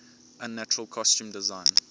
unnatural costume design